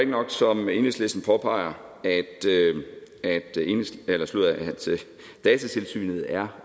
nok som enhedslisten påpeger at datatilsynet er